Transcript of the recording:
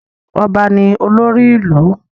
Ọba ní olórí ìlú.